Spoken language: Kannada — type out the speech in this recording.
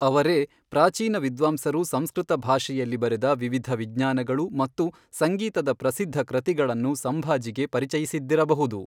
ಅವರೇ ಪ್ರಾಚೀನ ವಿದ್ವಾಂಸರು ಸಂಸ್ಕೃತ ಭಾಷೆಯಲ್ಲಿ ಬರೆದ ವಿವಿಧ ವಿಜ್ಞಾನಗಳು ಮತ್ತು ಸಂಗೀತದ ಪ್ರಸಿದ್ಧ ಕೃತಿಗಳನ್ನು ಸಂಭಾಜಿಗೆ ಪರಿಚಯಿಸಿದ್ದಿರಬಹುದು.